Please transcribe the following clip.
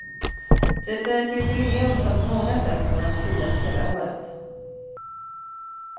Det är ett jubileum som på många sätt kommer att firas hela året.